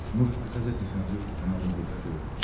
можешь показать на смотрешке канал рбк тв